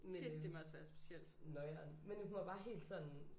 Men øh noieren men hun var bare helt sådan